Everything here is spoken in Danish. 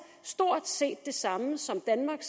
stort set det samme som danmark